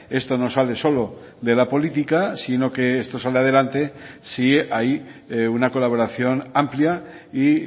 esto no sale solo de la política sino que esto sale adelante si hay una colaboración amplia y